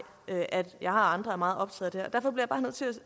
at jeg og andre er meget optaget